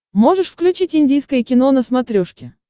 можешь включить индийское кино на смотрешке